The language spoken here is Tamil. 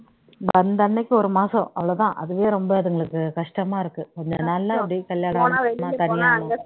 வந்த அன்னைக்கு ஒரு மாசம் அவ்வளவுதான் அதுவே ரொம்ப அதுங்களுக்கு கஷ்டமா இருக்கு கொஞ்சம் நாள்ல அப்படியே கல்யாணம் ஆயிடுச்சுன்னா தனியா